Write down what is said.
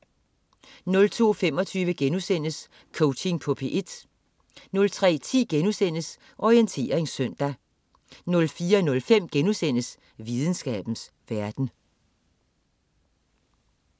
02.25 Coaching på P1* 03.10 Orientering søndag* 04.05 Videnskabens verden*